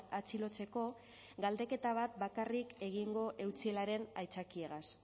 atxilotzeko galdeketa bat bakarrik egingo eutsielaren aitzakiegaz